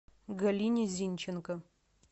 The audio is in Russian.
галине зинченко